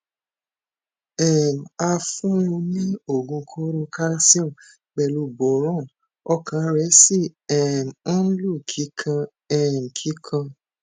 um a fun un ní oogun koro calcium pelu boron ọkàn rẹ sì um ń lù kikan um kikan